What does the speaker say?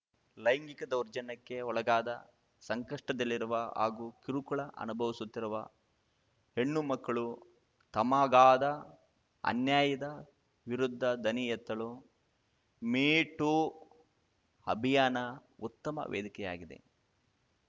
ಲೈಂಗಿಕ ದೌರ್ಜನ್ಯಕ್ಕೆ ಒಳಗಾದ ಸಂಕಷ್ಟದಲ್ಲಿರುವ ಹಾಗೂ ಕಿರುಕುಳ ಅನುಭವಿಸುತ್ತಿರುವ ಹೆಣ್ಣುಮಕ್ಕಳು ತಮಗಾದ ಅನ್ಯಾಯದ ವಿರುದ್ಧ ದನಿ ಎತ್ತಲು ಮೀ ಟೂ ಅಭಿಯಾನ ಉತ್ತಮ ವೇದಿಕೆಯಾಗಿದೆ